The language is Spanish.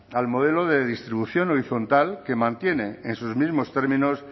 al modelo de distribución horizontal que mantiene en sus mismos términos